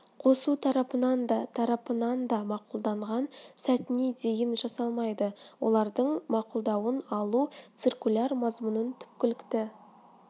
қосу тарапынан да тарапынан да мақұлданған сәтіне дейін жасалмайды олардың мақұлдауын алу циркуляр мазмұнын түпкілікті